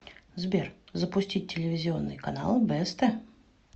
сбер запустить телевизионный канал бст